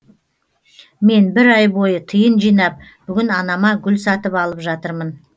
мен бір ай бойы тиын жинап бүгін анама гүл сатып алып жатырмын